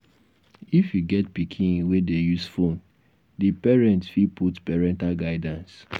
if you get pikin wey dey use phone di parent fit put parental guidance